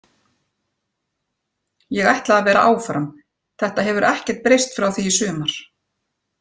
Ég ætla að vera áfram, þetta hefur ekkert breyst frá því í sumar.